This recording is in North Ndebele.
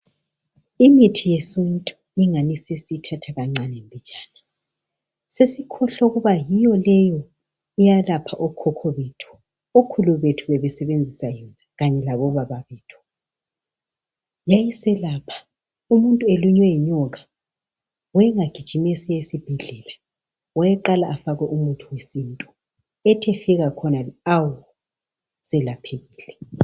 Imithi yesintu ingani sesiyithatha kancane mbijana sesikhohlwa ukuba yiyo leyo eyalapha okhokho bethu. Okhulu bethu bebesebenzisa yona kanye labobaba bethu. Yayiselapha umuntu elunywe yinyoka wayengagijimi esiya esibhedlela, wayeqala afakwe umuthi wesintu ethi efika khonale awu, selaphekile.